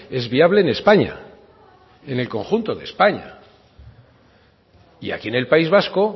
es viable en españa en el conjunto de españa y aquí en el país vasco